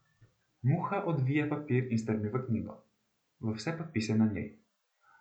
Muha odvije papir in strmi v knjigo, v vse podpise na njej.